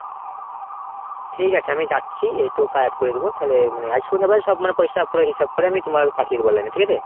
ঠিক আছে আমি যাচ্ছি। এই তো ওকে add করে দিবো। তালে আজ সন্ধ্যেবেলা সব পয়সা পুরা হিসাব করে আমি তোমাকে পাঠিয়ে দেব online এ ঠিক আছে ?